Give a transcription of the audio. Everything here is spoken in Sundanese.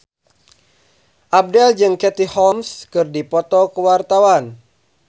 Abdel jeung Katie Holmes keur dipoto ku wartawan